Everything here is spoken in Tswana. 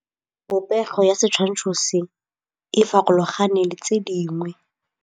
Popêgo ya setshwantshô se, e farologane le tse dingwe.